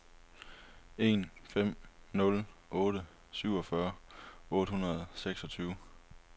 en fem nul otte syvogfyrre otte hundrede og seksogtyve